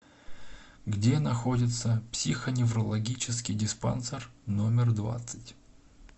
где находится психоневрологический диспансер номер двадцать